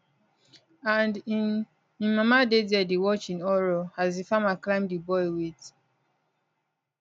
and in in mama dey dia dey watch in horror as di farmer climb di boy wit